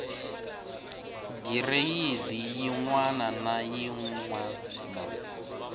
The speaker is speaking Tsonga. gireyidi yin wana na yin